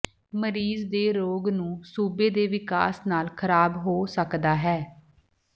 ਮਰੀਜ਼ ਦੇ ਰੋਗ ਨੂੰ ਸੂਬੇ ਦੇ ਵਿਕਾਸ ਨਾਲ ਖਰਾਬ ਹੋ ਸਕਦਾ ਹੈ